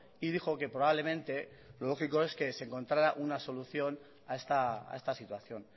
y dijo que probablemente lo lógico es que se encontrara una solución a esta situación